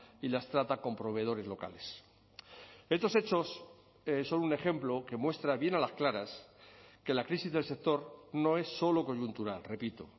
y las trata con proveedores locales estos hechos son un ejemplo que muestra bien a las claras que la crisis del sector no es solo coyuntural repito